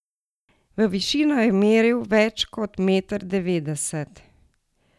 V višino je meril več kot meter devetdeset.